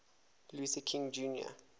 luther king jr